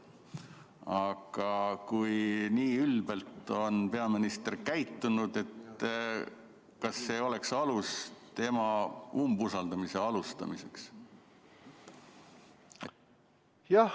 Aga kui nii ülbelt on peaminister käitunud, kas ei oleks alust alustada talle umbusalduse avaldamist?